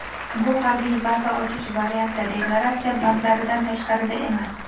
Bu [harbiy baza ochish varianti] deklaratsiya bandlaridan tashqarida emas.